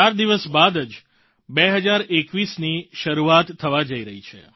ચાર દિવસ બાદ જ 2021ની શરૂઆત થવા જઈ રહી છે